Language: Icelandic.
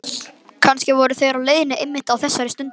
Kannski voru þeir á leiðinni einmitt á þessari stundu.